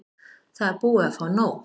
Það er búið að fá nóg.